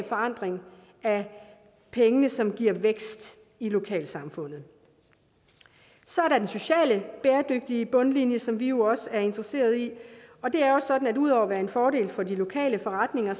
forankring af pengene som giver vækst i lokalsamfundet så er der den sociale bæredygtige bundlinje som vi også er interesseret i og det er jo sådan at ud over at være en fordel for de lokale forretninger